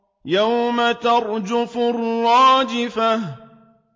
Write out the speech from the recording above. يَوْمَ تَرْجُفُ الرَّاجِفَةُ